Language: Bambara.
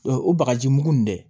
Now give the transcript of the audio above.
O o bagaji mugu in dɛ